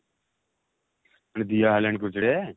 ମାନେ ଦିଆ ହେଲାଣି project?